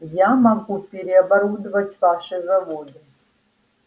я могу переоборудовать ваши заводы